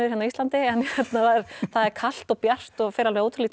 hérna á Íslandi það er kalt og bjart og fer alveg ótrúlega